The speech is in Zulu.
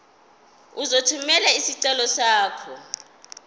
uzothumela isicelo sakho